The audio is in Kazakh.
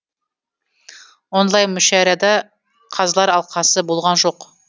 онлайн мүшәйрада қазылар алқасы болған жоқ